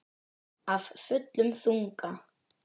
Af fullum þunga.